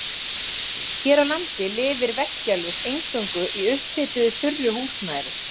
Hér á landi lifir veggjalús eingöngu í upphituðu þurru húsnæði.